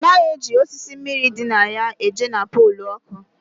A naghị eji osisi mmiri dị na ya eje na polu oku